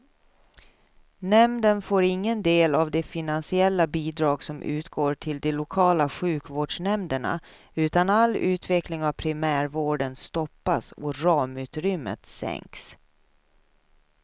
Nämnden får ingen del av de finansiella bidrag som utgår till de lokala sjukvårdsnämnderna, utan all utveckling av primärvården stoppas och ramutrymmet sänks.